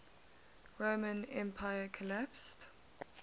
roman empire collapsed